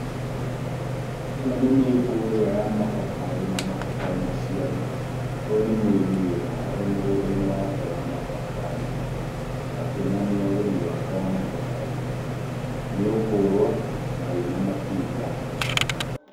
Ĩno nĩ mĩngũrwa ya mababaĩ na mababaĩ maciaru, ũyũ nĩ mũrĩmi wĩ haha e mũgũnda-inĩ wake wa mababaĩ, akĩonania ũrĩmi wake wa mababaĩ, mĩngũrwa na wĩna matunda.